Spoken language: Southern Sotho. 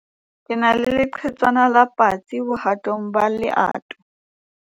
ke na le leqhetswana la patsi bohatong ba leoto